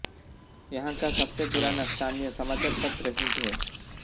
यहाँ का सबसे पुराना स्थानीय समाचार पत्र हिन्ट है